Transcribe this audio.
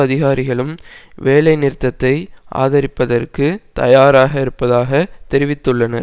அதிகாரிகளும் வேலைநிறுத்தத்தை ஆதரிப்பதற்கு தயாராக இருப்பதாக தெரிவித்துள்ளனர்